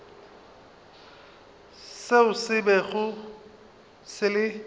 se se bego se le